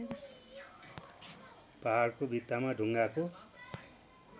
पहाडको भित्तामा ढुङ्गाको